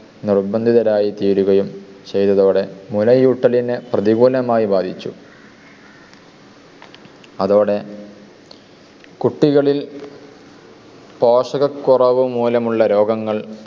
നിർബന്ധിതരായി തീരുകയും ചെയ്തതോടെ മുലയൂട്ടലിനു പ്രതികൂലമായി ബാധിച്ചു. അതോടെ കുട്ടികളിൽ പോഷകക്കുറവ് മൂലമുള്ള രോഗങ്ങൾ